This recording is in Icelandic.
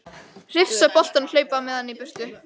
Hrifsa boltann og hlaupa með hann í burtu.